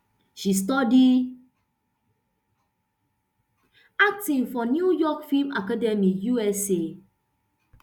she study acting for new york film academy usa